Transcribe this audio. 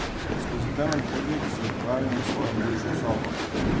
Skozi temen hodnik se odpravim v svojo bivšo sobo.